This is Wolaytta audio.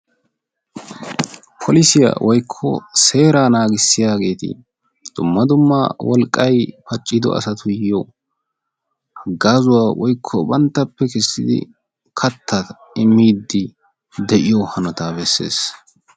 Polisiya woykko seeraa naagissiyaageeti dumma dumma wolqqay pacciddo asatuyo haggaazuwa woykko banttappe kessidi kattaa immiidi de'iyo hanotaa bessees.